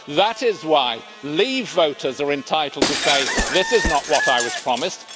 That is why leave voters are entitled to say, this is not what I was promised